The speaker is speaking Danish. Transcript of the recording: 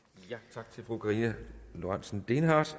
tak til fru karina lorentzen dehnhardt